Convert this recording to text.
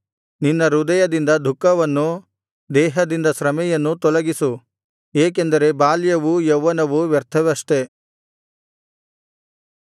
ನಿನ್ನ ಹೃದಯದಿಂದ ದುಃಖವನ್ನೂ ದೇಹದಿಂದ ಶ್ರಮೆಯನ್ನೂ ತೊಲಗಿಸು ಏಕೆಂದರೆ ಬಾಲ್ಯವೂ ಯೌವನವೂ ವ್ಯರ್ಥವಷ್ಟೆ